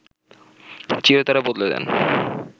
চিরতরে বদলে দেন